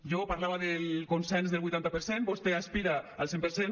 jo parlava del consens del vuitanta per cent vostè aspira al cent per cent